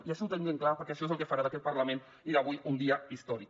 i això ho tenim ben clar perquè això és el que farà d’aquest parlament avui un dia històric